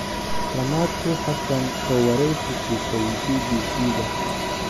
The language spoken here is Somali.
Ramatu Hassan oo wareysi siisay BBC-da.